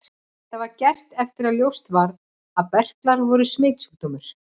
Þetta var gert eftir að ljóst varð að berklar voru smitsjúkdómur.